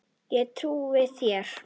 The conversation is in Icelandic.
Ég trúi þér